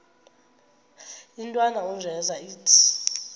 intwana unjeza ithi